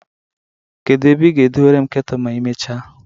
Kedu ebe ị ga-dewore m ketulu ma i mechaa?